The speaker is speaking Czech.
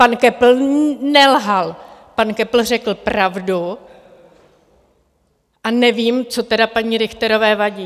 Pan Köppl nelhal, pan Köppl řekl pravdu, a nevím, co tedy paní Richterové vadí.